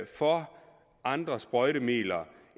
for andre sprøjtemidler